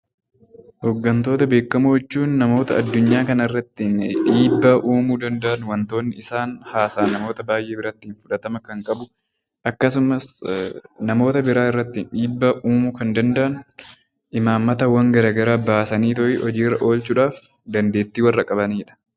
Hooggantoota beekamoo jechuun namoota addunyaa kanarratti dhiibbaa uumuu danda'an wantoonni isaan haasa'an namoota hedduu biratti fudhatama kan qabu akkasumas namoota biroo irratti dhiibbaa uumuu kan danda'an imaammataawwan garaagaraa baasanii hojiirra oolchuudhaaf dandeettii kan qabanidha .